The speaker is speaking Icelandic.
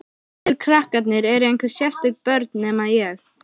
Allir krakkarnir eru einhver sérstök börn, nema ég.